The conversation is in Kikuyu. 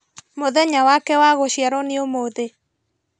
Mũthenya wake wa gũciarwo nĩ ũmũthĩ